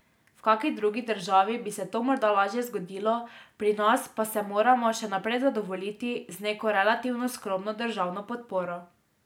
V kaki drugi državi bi se to morda lažje zgodilo, pri nas pa se moramo še naprej zadovoljiti z neko relativno skromno državno podporo.